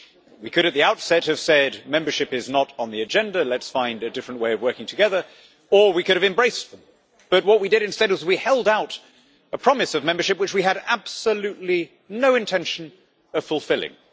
We could, at the outset, have said Membership is not on the agenda let's find a different way of working together', or we could have embraced them, but what we did instead was to hold out a promise of membership which we had absolutely no intention of fulfilling.